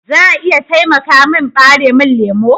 Za a iya taimaka min ɓaremin lemu?